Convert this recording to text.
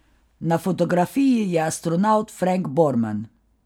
Na fotografiji je astronavt Frank Borman.